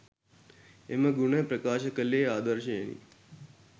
එම ගුණ ප්‍රකාශ කළේ ආදර්ශයෙනි.